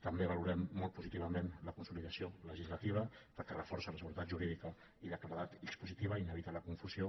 també valorem molt positivament la consolidació legislativa perquè reforça la seguretat jurídica i la claredat expositiva i n’evita la confusió